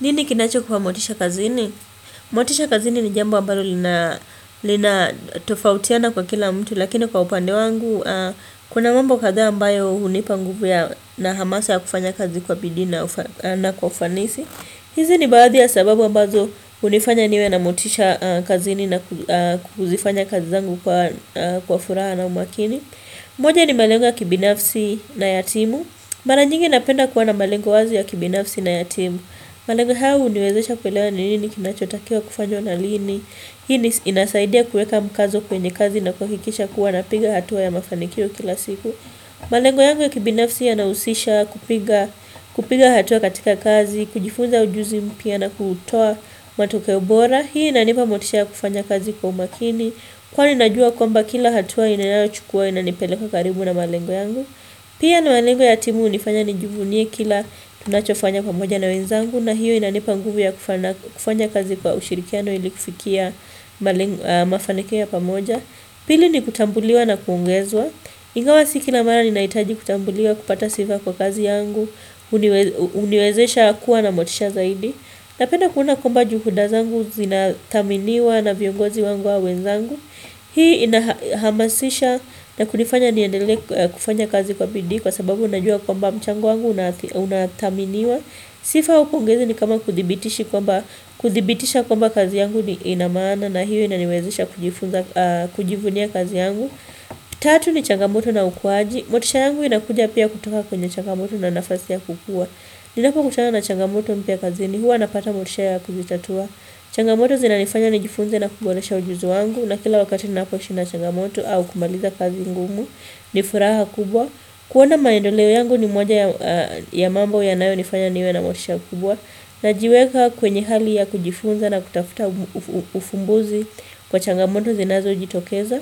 Nini kinacho kuwa motisha kazini? Motisha kazini ni jambo ambalo lina linatofautiana kwa kila mtu, lakini kwa upande wangu kuna mambo kadhaa ambayo hunipa nguvu na hamasa ya kufanya kazi kwa bidii na kwa ufanisi. Hizi ni baadhi ya sababu ambazo hunifanya niwe na motisha kazini na kuzifanya kazi zangu kwa furaha na umakini. Moja ni malengo ya kibinafsi na ya timu. Mara nyingi napenda kuwa na malengo wazi ya kibinafsi na ya timu. Malengo haya huniwezesha kuelewa ni nini kinachotakiwa kufanywa na lini. Hii inasaidia kuweka mkazo kwenye kazi na kuhakikisha kuwa napiga hatua ya mafanikio kila siku. Malengo yangu ya kibinafsi yanahusisha kupiga hatua katika kazi, kujifunza ujuzi mpya na kutoa matokeo bora. Hii inanipa motisha ya kufanya kazi kwa umakini. Kwani najua kwamba kila hatua ninayochukua inanipeleka karibu na malengo yangu. Pia ni malengo ya timu hunifanya nijivunie kila tunachofanya pamoja na wenzangu na hiyo inanipa nguvu ya kufanya kazi kwa ushirikiano ili kufikia malengo mafanikio ya pamoja. Pili ni kutambuliwa na kuongezwa. Ingawa si kila mara ninahitaji kutambuliwa kupata sifa kwa kazi yangu, huniwezesha kuwa na motisha zaidi. Napenda kuona kwamba juhuda zangu zinathaminiwa na viongozi wangu au wenzangu. Hii inahamasisha na kunifanya niendelee kufanya kazi kwa bidii kwa sababu unajua kwamba mchango wangu unathaminiwa. Sifa au pongezi ni kama kuthibitisha kwamba kazi yangu ina maana na hiyo inaniwezesha kujivunia kazi yangu. Tatu ni changamoto na ukuwaji. Motisha yangu inakuja pia kutoka kwenye changamoto na nafasi ya kukua. Ninapokutana na changamoto mpya kazini huwa napata motisha ya kuzitatua. Changamoto zinanifanya nijifunze na kuboresha ujuzi wangu. Na kila wakati ninapoishi na changamoto au kumaliza kazi ngumu. Ni furaha kubwa kuona maendeleo yangu ni moja ya ya mambo yanayonifanya niwe na motisha kubwa. Najiweka kwenye hali ya kujifunza na kutafuta ufumbuzi kwa changamoto zinazojitokeza.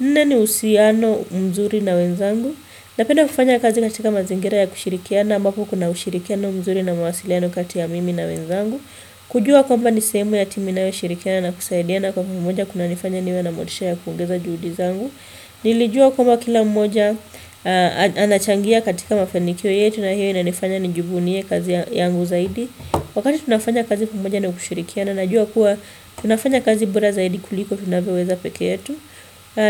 Nne ni uhusiano mzuri na wenzangu Napenda kufanya kazi katika mazingira ya kushirikiana ambako kuna ushirikiano mzuri na mawasiliano kati ya mimi na wenzangu. Kujua kwamba ni sehemu ya timu inayoshirikiana na kusaidiana kwa pamoja kunanifanya niwe na motisha ya kuongeza juhudi zangu Nilijua kwamba kila mmoja anachangia katika mafanikio yetu na hiyo inanifanya nijivunie kazi yangu zaidi Wakati tunafanya kazi pamoja na kushirikiana najua kuwa tunafanya kazi bora zaidi kuliko vinavyoweza peke yetu.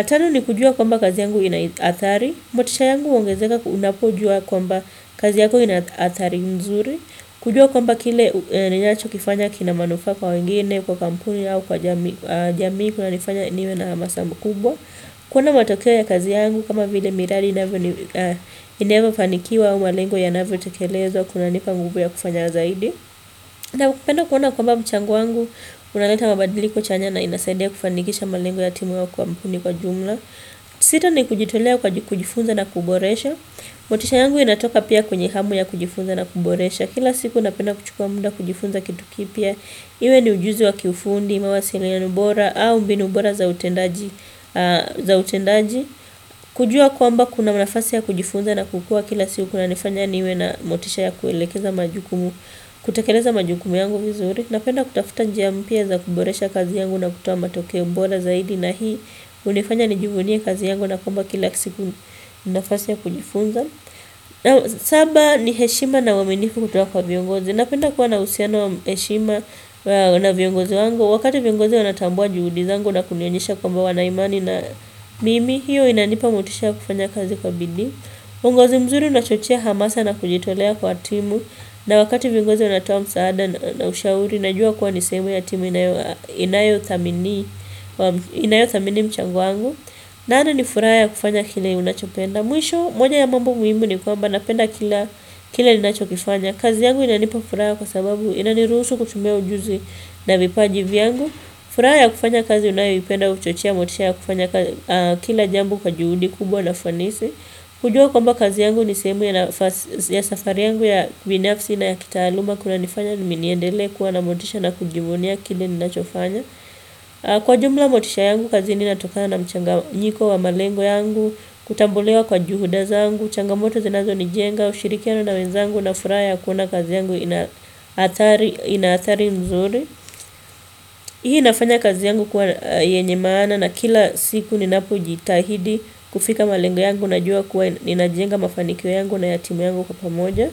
Tano ni kujua kwamba kazi yangu ina athari. Motisha yangu huongezeka unapojua kwamba kazi yako ina athari mzuri Kujuwa kwamba kile ninachokifanya kina manufaa kwa wengine, kwa kampuni au kwa jamii kunanifanya niwe na hamasa mkubwa. Kuona matokea ya kazi yangu kama vile miradi inavyofanikiwa au malengo yanavyotekelezwa, kunanipa nguvu ya kufanya zaidi Naupenda kuona kwamba mchango wangu unaleta mabadiliko chanya na inasaidia kufanikisha malengo ya timu wa kampuni kwa jumla. Sita ni kujitolea kujifunza na kuboresha motisha yangu inatoka pia kwenye hamu ya kujifunza na kuboresha. Kila siku napenda kuchukua muda kujifunza kitu kipya Iwe ni ujuzi wa kifundi, mawasiliano bora au mbinu bora za utendaji kujua kwamba kuna nafasi ya kujifunza na kukua kila siku kunanifanya niwe na motisha ya kuelekeza majukumu kutekeleza majukumu yangu vizuri. Napenda kutafuta njia mpya za kuboresha kazi yangu na kutoa matokeo bora zaidi. Na hii hunifanya nijivunie kazi yangu na kwamba kila siku ni nafasi ya kujifunza Saba ni heshima na uaminifu kutoka kwa viongozi. Napenda kuwa na uhusiano, heshima na viongozi wangu. Wakati viongozi wanatambua juhudi zangu na kunionyesha kwamba wana imani na mimi. Hiyo inanipa motisha ya kufanya kazi kwa bidii uongozi mzuri unachochea hamasa na kujitolea kwa timu na wakati viongozi wanatoa msaada na ushauri, najua kuwa ni sehemu ya timu inayothamini inayothamini mchango wangu nane ni nifuraha ya kufanya kile unachopenda. Mwisho, moja ya mambo muhimu ni kwamba napenda kila ninachokifanya. Kazi yangu inanipa furaha kwa sababu inaniruhusu kutumia ujuzi na vipaji vyangu. Furaha ya kufanya kazi unayoipenda huchochea motisha ya kufanya kila jambo kwa juhudi kubwa na fanisi. Kujua kwamba kazi yangu ni sehemu ya safari yangu ya binafsi na ya kitaaluma kunanifanya niendelee kuwa na motisha na kujivunia kile ninachofanya. Kwa ujumla motisha yangu kazini inatokana na mchanganyiko wa malengo yangu. Kutambuliwa kwa juhuda zangu, changamoto zinazonijenga, ushirikiano na wenzangu, na furaha ya kuona kazi yangu ina athari ina athari nzuri. Hii inafanya kazi yangu kuwa yenye maana na kila siku ninapojitahidi kufika malengo yangu najua kuwa ninajenga mafanikio yangu na ya timu yangu kwa pamoja.